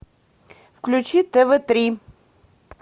включи тв три